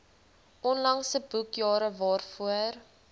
onlangse boekjare waarvoor